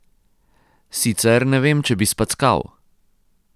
Sicer ne vem, če bi spackal.